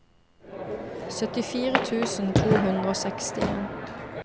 syttifire tusen to hundre og sekstien